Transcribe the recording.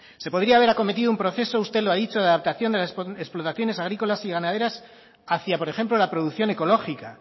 se podría haber acometido un proceso usted lo ha dicho de adaptación de las explotaciones agrícolas y ganaderas hacía por ejemplo la producción ecológica